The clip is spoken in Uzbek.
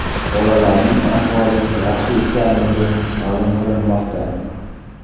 Bolalarning ahvoli yaxshi ekanligi ma’lum qilinmoqda.